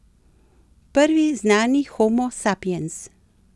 Prvi znani homo sapiens.